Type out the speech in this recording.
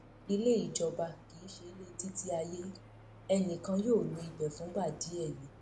ilé ìjọba kì í ṣe ilétítíayé ẹnì kan yóò lo ibẹ fúngbà díẹ ni